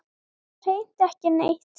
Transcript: Bara hreint ekki neitt.